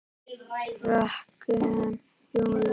Fröken Júlíu.